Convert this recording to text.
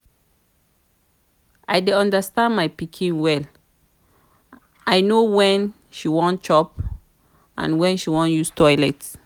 i dey understand my pikin well. i no when she wan chop and when she wan use toilet